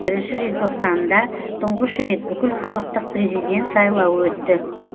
бірінші желтоқсанында тұңғыш рет бүкілхалықтық президент сайлауы өтті